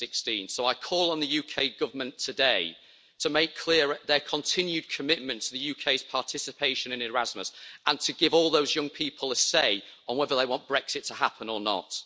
2016. So I call on the UK Government today to make clear their continued commitment to the UK's participation in Erasmus and to give all those young people a say on whether they want Brexit to happen or not.